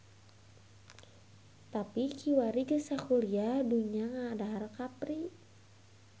Tapi kiwari geus sakuliah dunya ngadahar kapri.